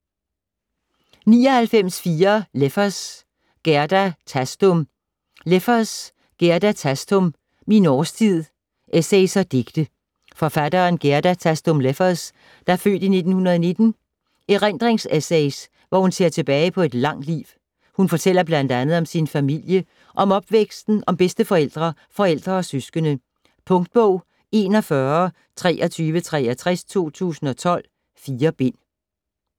99.4 Leffers, Gerda Thastum Leffers, Gerda Thastum: Min årstid: essays og digte Forfatteren Gerda Thastum Leffers (f. 1919) erindringsessays, hvor hun ser tilbage på et langt liv. Hun fortæller bl.a. om sin familie, om opvæksten, om bedsteforældre, forældre og søskende. Punktbog 412363 2012. 4 bind.